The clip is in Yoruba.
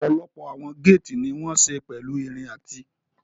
Ọ̀pọ̀lọpọ̀ àwọn géètì ní wọ́n ṣe pẹ̀lú irin àti